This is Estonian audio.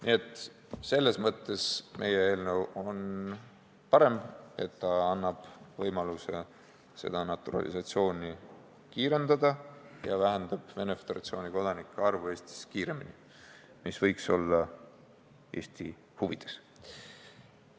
Nii et selles mõttes on meie eelnõu parem, see annab võimaluse naturalisatsiooni kiirendada ja vähendab Venemaa Föderatsiooni kodanike arvu Eestis kiiremini, mis võiks olla Eesti huvides.